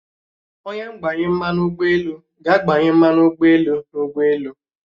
Onye ngbanye mmanụ ugboelu ga-agbanye mmanu ụgbọelu n'ụgbọelu